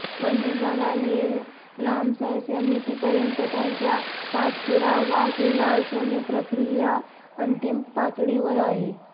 one विभागाने Ramsar समितीपर्यंत त्याच्या पाठपुरावा केला असून ही प्रक्रिया अंतिम पातळीवर आहे